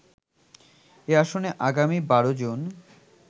এই আসনে আগামী ১২ জুন